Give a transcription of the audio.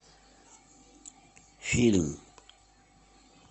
фильм